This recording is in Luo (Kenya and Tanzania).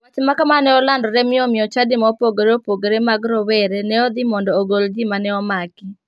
Wach makama ne olandore mi omiyo chadi ma opoore opogore mag rowere ne odhi mondo ogol ji mane omak.